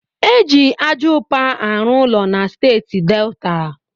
E ji aja ụpa arụ ụlọ na steeti Delta.